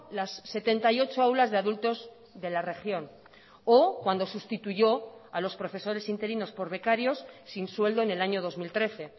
las setenta y ocho aulas de adultos de la región o cuando sustituyó a los profesores interinos por becarios sin sueldo en el año dos mil trece